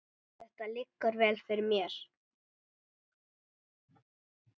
Þetta liggur vel fyrir mér.